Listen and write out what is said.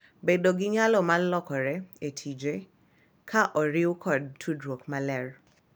Bedo gi nyalo mar lokore e tije, ka oriw kod tudruok maler,